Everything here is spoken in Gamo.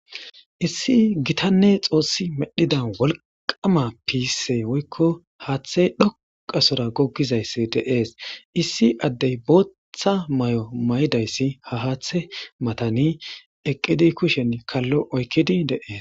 Issi gitanne xosi medhida woliqama gise woyikko hathe dhoqa sora gogizayisi deas issi adde botha mayo mayidayisi ha hathe matani eqidi kusheni kalo oyiqidi deas.